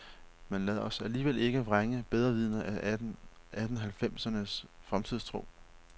Men lad os alligevel ikke vrænge bedrevidende af atten halvfemsernes fremtidstro.